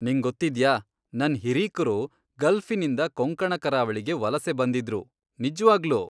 ನಿಂಗೊತ್ತಿದ್ಯಾ, ನನ್ ಹಿರೀಕರು ಗಲ್ಫಿನಿಂದ ಕೊಂಕಣ ಕರಾವಳಿಗೆ ವಲಸೆ ಬಂದಿದ್ರು ನಿಜವಾಗ್ಲೂ.